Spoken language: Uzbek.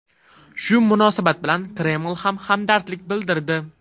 Shu munosabat bilan Kreml ham hamdardlik bildirdi.